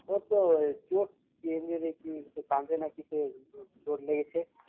, ও তো চোট কি injury কি কাঁধে নাকি কি চোট লেগেছে